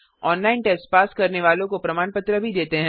online test pass करने वालों को प्रमाण पत्र भी देते हैं